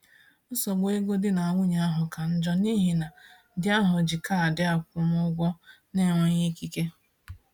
Nsogbu ego di na nwunye ahụ ka njọ n’ihi na di ahụ ji kaadị akwụmụgwọ n’enweghị ikike.